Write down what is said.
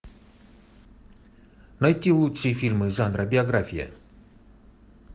найти лучшие фильмы жанра биография